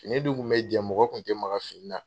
Fini dun kun bɛ jɛn mɔgɔ kun tɛ maga fini na.